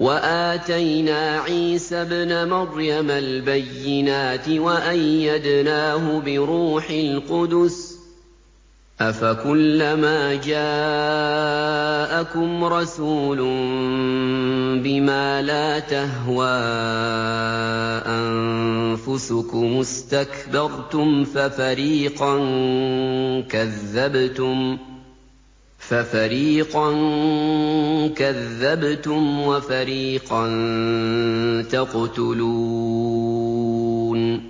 وَآتَيْنَا عِيسَى ابْنَ مَرْيَمَ الْبَيِّنَاتِ وَأَيَّدْنَاهُ بِرُوحِ الْقُدُسِ ۗ أَفَكُلَّمَا جَاءَكُمْ رَسُولٌ بِمَا لَا تَهْوَىٰ أَنفُسُكُمُ اسْتَكْبَرْتُمْ فَفَرِيقًا كَذَّبْتُمْ وَفَرِيقًا تَقْتُلُونَ